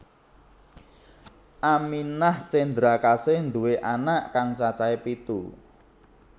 Aminah Cendrakasih nduwé anak kang cacahé pitu